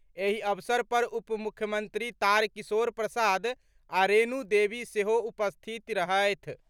एहि अवसर पर उपमुख्यमंत्री तारकिशोर प्रसाद आ रेणु देवी सेहो उपस्थिति रहथि।